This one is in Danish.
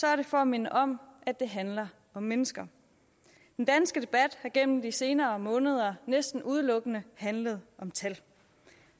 er det for at minde om at det handler om mennesker den danske debat har igennem de senere måneder næsten udelukkende handlet om tal